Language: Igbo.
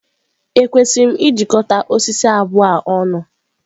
Ekwesịrị m ịjikọta osisi abụọ a ọnụ?